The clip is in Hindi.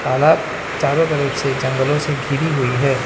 तालाब चारों तरफ से जंगलों से घिरी हुई है।